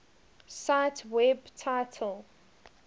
cite web title